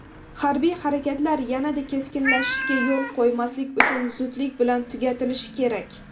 Harbiy harakatlar yanada keskinlashishiga yo‘l qo‘ymaslik uchun zudlik bilan tugatilishi kerak.